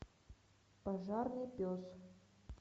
пожарный пес